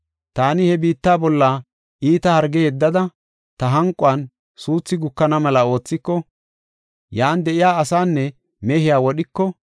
“Taani he biitta bolla iita harge yeddada, ta hanquwan suuthi gukana mela oothiko, yan de7iya asaanne mehiya wodhiko,